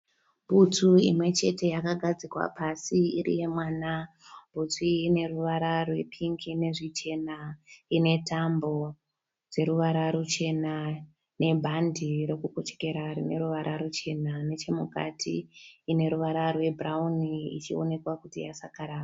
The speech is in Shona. Bhutsu imwe chete kagadzikwa pasi iri yemwana. Bhutsu iyi ine ruvara rwepingi nezvichena. Ine tambo dzeruvara ruchena nebhande rokukochekera rine ruvara ruchena. Nechemukati ine ruvara rwebhurauni ichionekwa kuti yasakara.